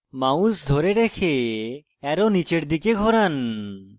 mouse ধরে রেখে arrow নীচের দিকে ঘোরান